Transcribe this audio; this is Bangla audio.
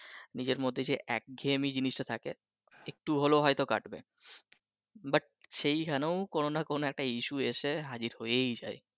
নিজের মধ্যে যে এক ঘেয়েমি যে জিনিসটা থাকে একটু হলেও হয়ত কাটবে but সেইখানেও কোন না কোন issue এসে হাজির হয়েই যায়